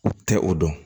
U tɛ o dɔn